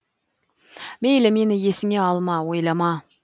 мейлі мені есіңе алма ойлама